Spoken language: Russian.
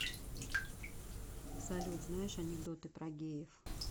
салют знаешь анекдоты про геев